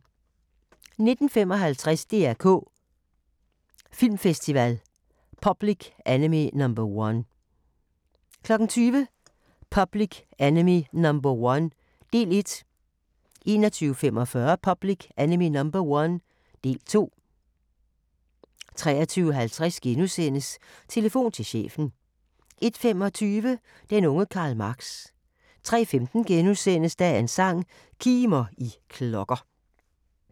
19:55: DR K Filmfestival – Public Enemy No. 1 20:00: Public Enemy No. 1 – del 1 21:45: Public Enemy No. 1 – del 2 23:50: Telefon til chefen * 01:25: Den unge Karl Marx 03:15: Dagens sang: Kimer, I klokker *